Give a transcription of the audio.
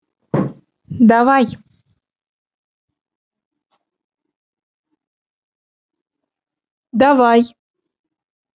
давай давай